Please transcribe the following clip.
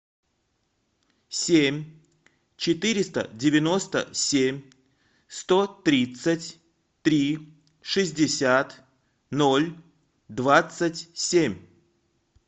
семь четыреста девяносто семь сто тридцать три шестьдесят ноль двадцать семь